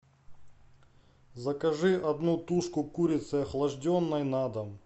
закажи одну тушку курицы охлажденной на дом